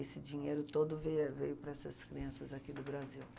Esse dinheiro todo veia veio para essas crianças aqui do Brasil.